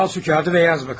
Al şu kağıdı və yaz bakalım.